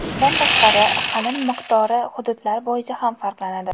Bundan tashqari, qalin miqdori hududlar bo‘yicha ham farqlanadi.